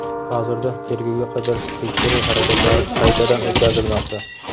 Hozirda tergovga qadar tekshiruv harakatlari qaytadan o‘tkazilmoqda.